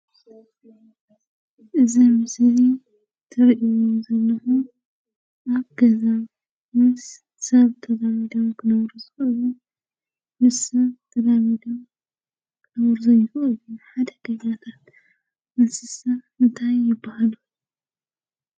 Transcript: እዚ ምስሊ እዚ ትሪእዎ ዘለኩም ኣብ ገዛ ምስ ሰብ ተላሚዶም ክነብሩ ዝክእሉ ምስ ሰብ ተላሚዶም ክነብሩ ዘይክእሉን ሓደገኛታት እንስሳ እንታይ ይበሃሉ?